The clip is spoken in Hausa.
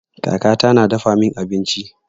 Kaka ta na dafa min abinci.